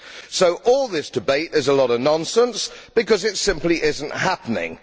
So all this debate is a lot of nonsense, because it simply is not happening.